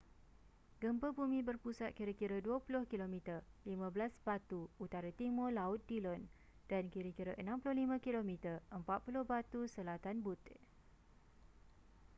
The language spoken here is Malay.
gempa bumi berpusat kira-kira 20 km 15 batu utara-timur laut dillon dan kira-kira 65 km 40 batu selatan butte